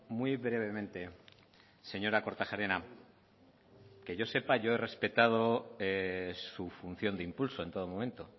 muy brevemente señora kortajarena que yo sepa he respetado su función de impulso en todo momento